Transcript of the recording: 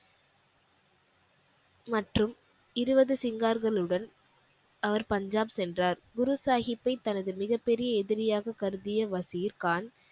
மற்றும் இருபது சிங்கார்களுடன் அவர் பஞ்சாப் சென்றார் குரு சாஹிப்பை தனது மிகப் பெரிய எதிரியாக கருதிய வசீர்கான்